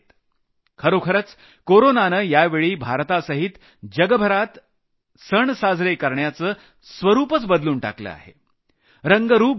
खरोखरच कोरोनानं यावेळी भारतासहित जगभरात सण साजरे करण्याचं स्वरूपच बदलून टाकलं आहे रंगरूप बदललं आहे